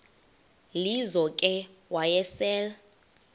lizo ke wayesel